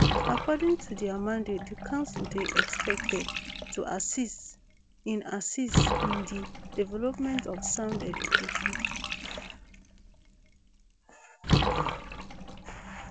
according to dia mandate di council dey expected to assist in assist in di development of sound education